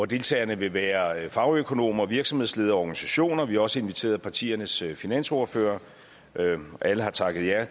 deltagerne vil være fagøkonomer virksomhedsledere og organisationer vi har også inviteret partiernes finansordførere alle har takket ja og